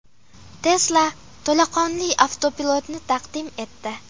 Tesla to‘laqonli avtopilotni taqdim etdi.